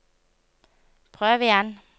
prøv igjen